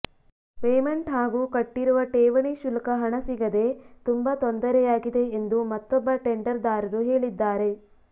payment ಹಾಗೂ ಕಟ್ಟಿಿರುವ ಠೇವಣಿ ಶುಲ್ಕ ಹಣ ಸಿಗದೆ ತುಂಬಾ ತೊಂದರೆಯಾಗಿದೆ ಎಂದು ಮತ್ತೊೊಬ್ಬ ಟೆಂಡರ್ದಾರರು ಹೇಳಿದ್ದಾರೆ